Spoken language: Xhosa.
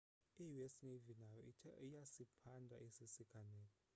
i-us navy nayo ithe iyasiphanda esi siganeko